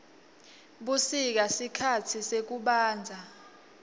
busika sikhatsi sekubandza